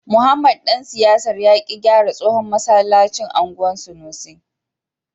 Mohammed dan siyasar ya ki gyara tsohon masallacin anguwan sanusi.